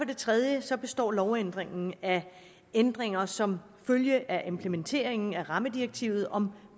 det tredje består lovændringen af ændringer som følge af implementeringen af rammedirektivet om